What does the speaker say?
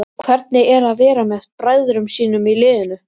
Hvernig er að vera með bræðrum sínum í liðinu?